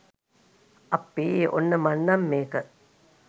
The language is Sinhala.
අප්පේ ඕන්න මං නම් මේක